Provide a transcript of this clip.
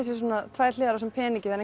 tvær hliðar á þessum peningi það